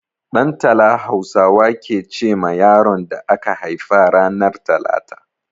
Ɗantala Hausawa ke ce ma yaron da aka haifa ranar talata.